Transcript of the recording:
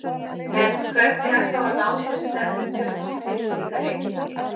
En hvernig er þá að ná sér stemmdum fyrir slíka leiki?